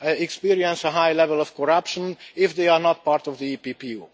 experience a high level of corruption, if they are not part of the EPPO?